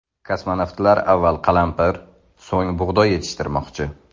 Kosmonavtlar avval qalampir, so‘ng bug‘doy yetishtirmoqchi.